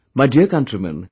My dear countrymen